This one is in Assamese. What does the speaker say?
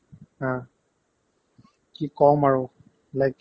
আহ্, কি ক'ম আৰু like